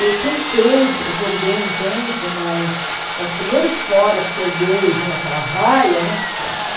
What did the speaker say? Eu tentei, joguei um tempo, mas os primeiros foras que eu dei e vinha aquela vaia né, pronto.